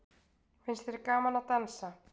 Finnst þér gaman að dansa?